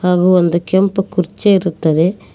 ಹಾಗು ಒಂದು ಕೆಂಪು ಕುರ್ಚಿ ಇರುತ್ತದೆ.